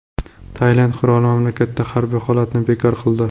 Tailand qiroli mamlakatda harbiy holatni bekor qildi.